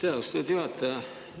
Aitäh, austatud juhataja!